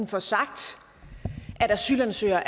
får sagt at asylansøgere